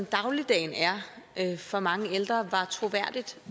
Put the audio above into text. dagligdagen er for mange ældre var troværdigt